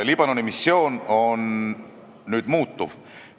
Liibanoni missioon nüüd muutub.